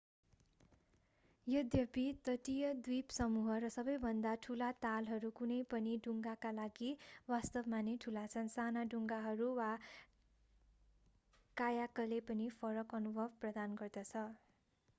यद्यपि तटीय द्वीपसमूह र सबैभन्दा ठूला तालहरू कुनै पनि डुङ्गाका लागि वास्तवमा नै ठुला छन् साना डुङ्गाहरू वा कायाकले पनि फरक अनुभव प्रदान गर्दछ